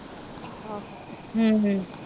ਹਮ ਹਮ